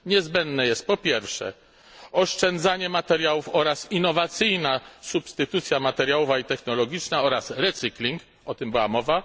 Niezbędne jest, po pierwsze, oszczędzanie materiałów oraz innowacyjna substytucja materiałowa i technologiczna oraz recycling, o tym była mowa.